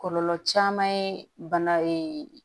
Kɔlɔlɔ caman ye bana